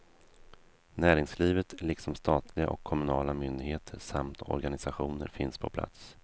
Näringslivet, liksom statliga och kommunala myndigheter samt organisationer finns på plats.